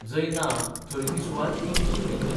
जंय ना, थंय ती सुवात इंग्लीशीन घेतल्या.